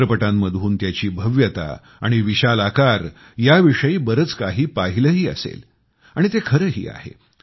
चित्रपटांमधून त्याची भव्यता आणि विशाल आकार याविषयी बरंच काही पाहिलंही असेल आणि ते खरंही आहे